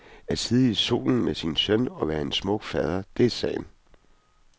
At sidde i solen med sin søn og være en smuk fader, det er sagen.